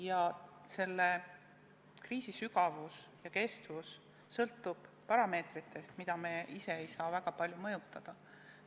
Ja selle kriisi sügavus ja kestus sõltub parameetritest, mida me ise ei saa väga palju mõjutada.